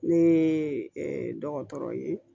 Ne ye dɔgɔtɔrɔ ye